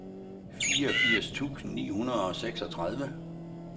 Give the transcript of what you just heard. fireogfirs tusind ni hundrede og seksogtredive